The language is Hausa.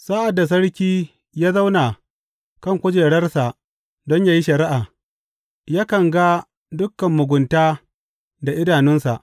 Sa’ad da sarki ya zauna kan kujerarsa don yă yi shari’a, yakan ga dukan mugunta da idanunsa.